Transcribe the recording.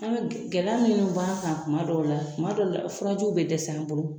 An ka gɛlɛya min b'a kan tuma dɔw la tuma dɔw la furajiw bɛ dɛsɛ an bolo